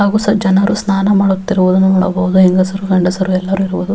ಹಾಗು ಸಹ ಜನರು ಸ್ನಾನ ಮಾಡುವುತ್ತಿರುವುದು ನೋಡಬಹುದು ಹೆಂಗಸರು ಗಂಡಸರು ಎಲ್ಲರೂ ಇರುವರು.